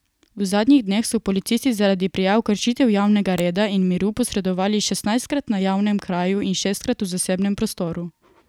V zadnjih dneh so policisti zaradi prijav kršitev javnega reda in miru posredovali šestnajstkrat na javnem kraju in šestkrat v zasebnem prostoru.